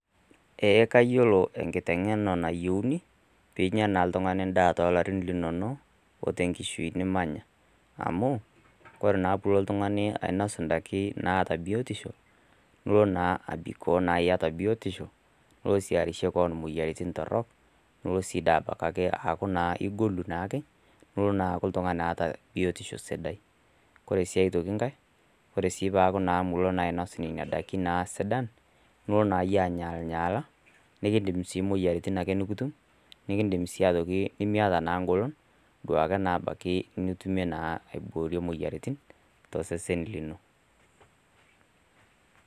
Kayiolo enkitengena nayieuni pee inya oltungani endaa too larin linonok o te nkishui nimanya amu ore naa pee ilo oltungani ainos indaiki naata biotisho ilo abikoo iata biotisho nilo sii abikoo arishie keon imuoyaritin torrok nilo sii aaku igolu neaku oltungani oota biotisho sidai. Ore sii aitoki enkae ore piilo aaku miinos nena ndaiki sidan ilo ainyaalinyaala naa ikidim muoyaritin nikitum amu miata naa engolon niboorie muoyaritin to osesen lino.